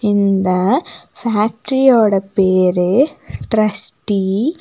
இந்த ஃபேக்டரியோட பேரு டிரஸ்டீ .